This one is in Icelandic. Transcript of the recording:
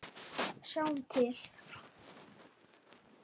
Sjáum til.